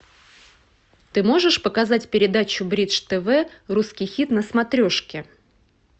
ты можешь показать передачу бридж тв русский хит на смотрешке